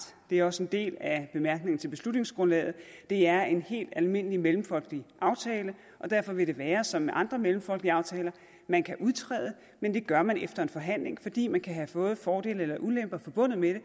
det er også en del af bemærkningerne til beslutningsgrundlaget det er en helt almindelig mellemfolkelig aftale og derfor vil det være som med andre mellemfolkelige aftaler man kan udtræde men det gør man efter forhandling fordi man kan have både fordele og ulemper forbundet med